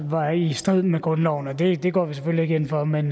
var i strid med grundloven det det går vi selvfølgelig ikke ind for men